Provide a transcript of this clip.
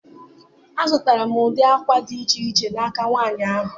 Azụtara m ụdị akwa dị iche iche n'aka nwanyị ahụ